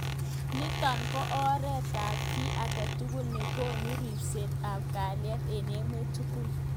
Nitok ko oret ab ki agetugul nekonu ribset ab kaliet eng emet tugul.